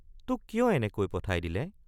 তোক কিয় এনেকৈ পঠাই দিলে?